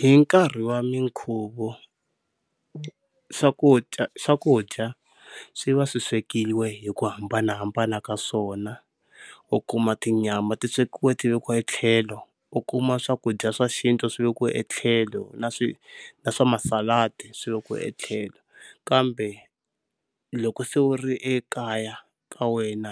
Hi nkarhi wa minkhuvo swakudya, swakudya swi va swi swekiwe hi ku hambanahambana ka swona, u kuma tinyama ti swekiwa ti vikiwa hi tlhelo, u kuma swakudya swa xintu swi vekiwa etlhelo na na swa masaladi, swi vekiwa etlhelo. Kambe loko se u ri ekaya ka wena